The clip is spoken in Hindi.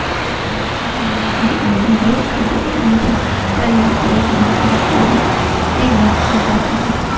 मे यहा एक बिल्डिंग दिखाई दे रही है जो लाइटे ग्रीन कलर की है। यहा